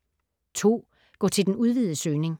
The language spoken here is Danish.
Gå til den udvidede søgning